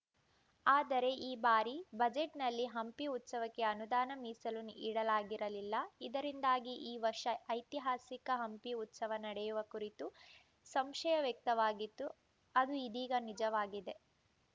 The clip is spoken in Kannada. ಆದರೆ ಈ ಬಾರಿ ಬಜೆಟ್‌ನಲ್ಲಿ ಹಂಪಿ ಉತ್ಸವಕ್ಕೆ ಅನುದಾನ ಮೀಸಲು ಇಡಲಾಗಿರಲಿಲ್ಲ ಇದರಿಂದಾಗಿ ಈ ವರ್ಷ ಐತಿಹಾಸಿಕ ಹಂಪಿ ಉತ್ಸವ ನಡೆಯುವ ಕುರಿತು ಸಂಶಯ ವ್ಯಕ್ತವಾಗಿತ್ತು ಅದು ಇದೀಗ ನಿಜವಾಗಿದೆ